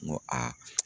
N ko aa